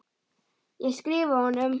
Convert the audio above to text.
Ég skrifa honum!